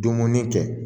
Dumuni kɛ